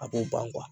A b'o ban